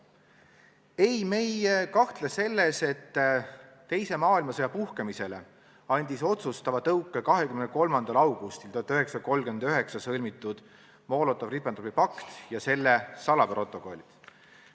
Ei, me ei kahtle selles, et teise maailmasõja puhkemisele andsid otsustava tõuke 23. augustil 1939 sõlmitud Molotovi-Ribbentropi pakt ja selle salaprotokollid.